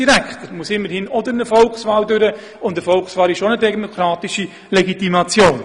Dieser muss sich immerhin auch einer Volkswahl unterziehen, und eine Volkswahl ist auch eine demokratische Legitimation.